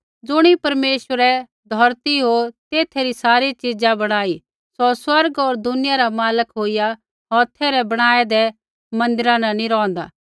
ज़ुणी परमेश्वरै धौरती होर तेथा री सारी च़ीज़ा बणाई सौ स्वर्ग होर दुनिया रा मालक होईया हौथै रै बणाऐदै मन्दिरा न नी रौंहदा